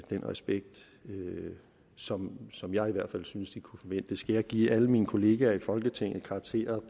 respekt som som jeg i hvert fald synes de kunne forvente skal jeg give alle mine kolleger i folketinget karakterer